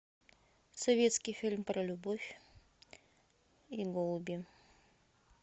советский фильм про любовь и голуби